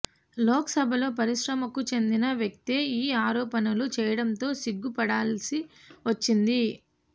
లోక్ సబలో పరిశ్రమకు చెందిన వ్యక్తే ఈ ఆరోపణలు చేయడంతో సిగ్గు పడాల్సి వచ్చింది